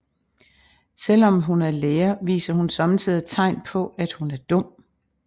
Selvom at hun er lærer viser hun sommetider tegn på at hun er dum